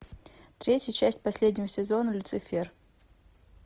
третья часть последнего сезона люцифер